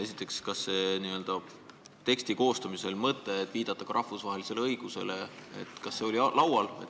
Esiteks, kas teksti koostamisel oli laual mõte viidata rahvusvahelisele õigusele?